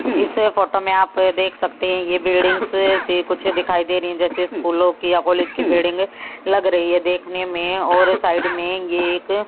इस फोटो में आप देख सकते हैं ये बिल्डिंग से कुछ दिखाई दे रही हैं जैसे स्कूलों की या कॉलेज की बिल्डिंग लग रही है देखने में और साइड में ये एक--